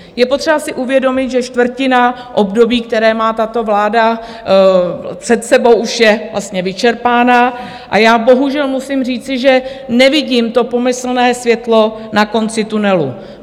Je potřeba si uvědomit, že čtvrtina období, které má tato vláda před sebou, už je vlastně vyčerpána, a já bohužel musím říci, že nevidím to pomyslné světlo na konci tunelu.